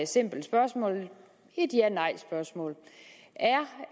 simpelt spørgsmål et janej spørgsmål